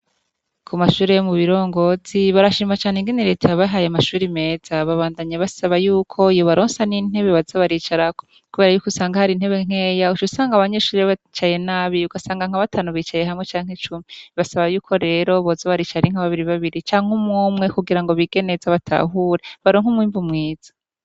Kumashure yomu birongozi barashima cane ingene reta yabahaye amashure meza babandanya basaba yuko yobaronsa nintebe baza baricarako kuberayuko unsanga hari intebe nkeya ucusanga abanyeshure bicaye nabi ugasanga nka batanu bicaye hamwe canke cumi basaba yuko rero boza baricara ari nka babiri babiri canke umwe umwe kugira ngo bige neza batahure baronke umwimbu mwiza